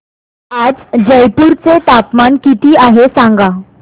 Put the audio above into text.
आज जयपूर चे तापमान किती आहे सांगा